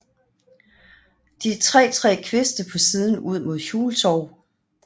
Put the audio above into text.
De tre tre kviste på siden ud mod Hjultorv